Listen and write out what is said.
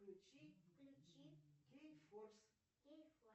включи кей форс